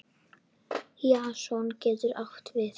Jason getur átt við